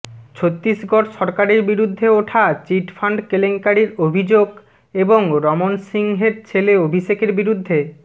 ছত্তীসগঢ় সরকারের বিরুদ্ধে ওঠা চিট ফান্ড কেলেঙ্কারির অভিযোগ এবং রমন সিংহের ছেলে অভিষেকের বিরুদ্ধে